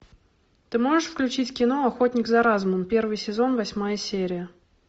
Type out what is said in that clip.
ты можешь включить кино охотник за разумом первый сезон восьмая серия